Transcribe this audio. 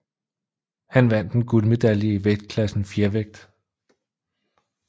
Han vandt en guldmedalje i vægtklassen fjervægt